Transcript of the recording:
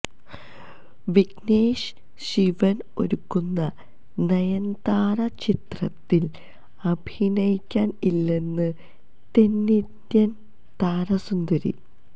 വിഘ്നേഷ് ശിവൻ ഒരുക്കുന്ന നയൻതാര ചിത്രത്തിൽ അഭിനയിക്കാൻ ഇല്ലെന്ന് തെന്നിന്ത്യൻ താരസുന്ദരി